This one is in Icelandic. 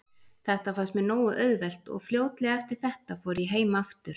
Þetta fannst mér nógu auðvelt og fljótlega eftir þetta fór ég heim aftur.